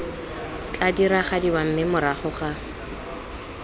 tla diragadiwa mme morago ga